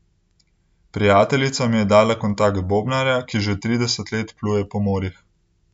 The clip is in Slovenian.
Prijateljica mi je dala kontakt bobnarja, ki že trideset let pluje po morjih.